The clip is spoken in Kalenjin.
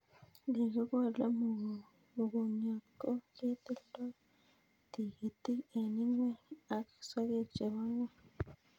Ye kikole mugongiot ko ketildoi tigitik eng' ingweny ak sogek chebo ngweny